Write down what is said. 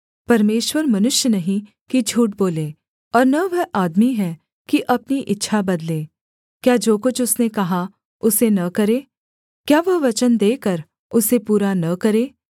परमेश्वर मनुष्य नहीं कि झूठ बोले और न वह आदमी है कि अपनी इच्छा बदले क्या जो कुछ उसने कहा उसे न करे क्या वह वचन देकर उसे पूरा न करे